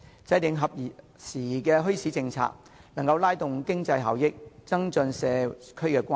制訂合時宜的墟市政策不但能夠提高經濟效益，而且增進社區關係。